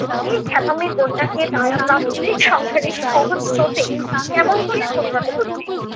এই খেপামির বন্যাকে তারা প্রাত্যহিক সংসারের সহজ স্রোতে কেমন করিয়া পরিণত করিবে?